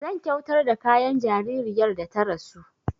Zan kyautar da kayan jaririyar da ta rasu